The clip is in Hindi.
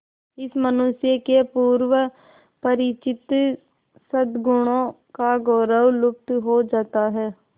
इस मनुष्य के पूर्व परिचित सदगुणों का गौरव लुप्त हो जाता है